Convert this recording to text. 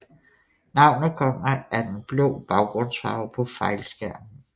Navnet kommer af den blå baggrundsfarve på fejlskærmen